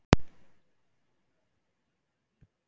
Magnús: Hvað ætlarðu að gera ef þú vinnur pottinn?